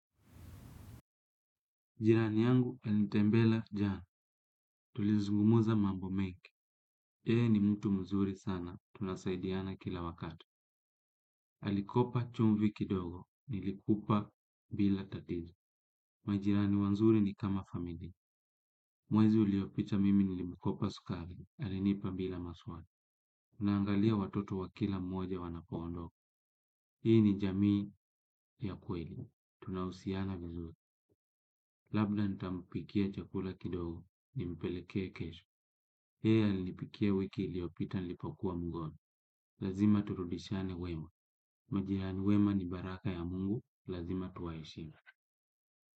Jirani yangu alinitembelea jana. Tulizungumza mambo mengi. Yeye ni mtu mzuri sana. Tunasaidiana kila wakati. Alikopa chumvi kidogo. Nilikupa bila tatizo. Majirani wazuri ni kama familia. Mwezi uliopita mimi nilimkopa sukari. Alinipa bila maswali. Unaangalia watoto wa kila mmoja wanapoondoka. Hii ni jamii ya kweli. Tunahusiana vizuri. Labda nitampikia chakula kidogo. Nimpeleke kesho. Yeye alinipikia wiki iliopita nilipokua mgonjwa. Lazima turudishiane wema. Majirani wema ni baraka ya mungu. Lazima tuwaheshimu.